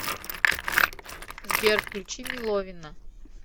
сбер включи меловина